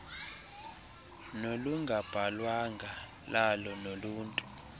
nolungabhalwanga lalo noluntu